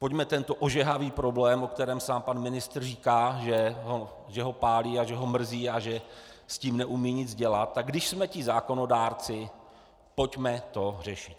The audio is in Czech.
Pojďme tento ožehavý problém, o kterém sám pan ministr říká, že ho pálí a že ho mrzí a že s tím neumí nic dělat, tak když jsme ti zákonodárci, pojďme to řešit.